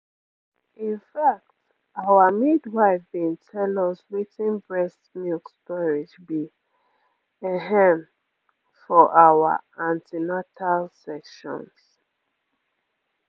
in fact our midwife been tell us wetin breast milk storage be ehm for our an ten atal sessions